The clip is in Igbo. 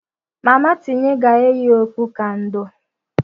Mama tinye ga-eyi okpu ka ndò.